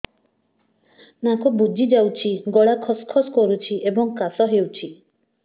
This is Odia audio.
ନାକ ବୁଜି ଯାଉଛି ଗଳା ଖସ ଖସ କରୁଛି ଏବଂ କାଶ ହେଉଛି